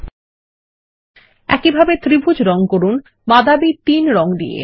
ল্টপাউসেগ্ট একই ভাবে ত্রিভুজ কে রঙ করুন বাদামী 3 রং দিয়ে